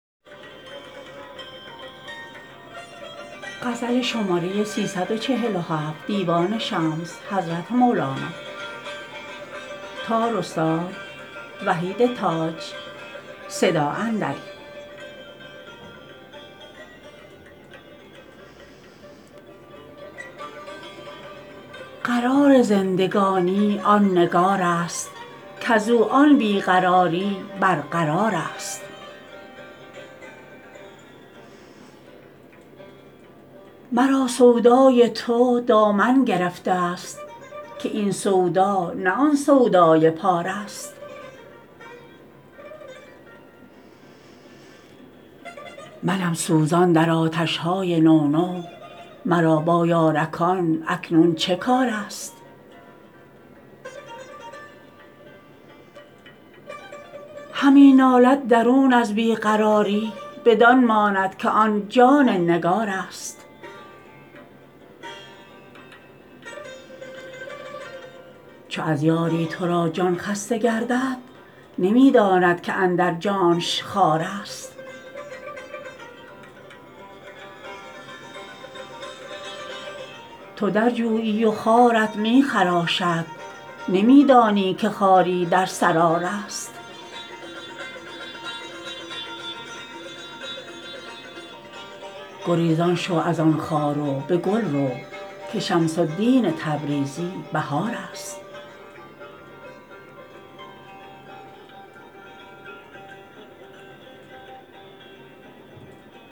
قرار زندگانی آن نگارست کز او آن بی قراری برقرارست مرا سودای تو دامن گرفته ست که این سودا نه آن سودای پارست منم سوزان در آتش های نو نو مرا با یارکان اکنون چه کارست همی نالد درون از بی قراری بدان ماند که آن جان نگارست چو از یاری تو را جان خسته گردد نمی داند که اندر جانش خارست تو در جویی و خارت می خراشد نمی دانی که خاری در سرا رست گریزان شو از آن خار و به گل رو که شمس الدین تبریزی بهارست